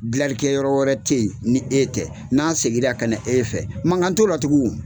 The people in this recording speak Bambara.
Gilalikɛ yɔrɔ wɛrɛ tE yen ni e tɛ, n'an seginna ka na e fɛ mankan t'o la tugun